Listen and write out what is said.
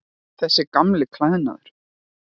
Þessi gamli klæðnaður.